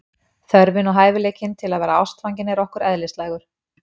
Þörfin og hæfileikinn til að vera ástfangin er okkur eðlislægur.